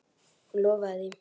Hún lofaði því.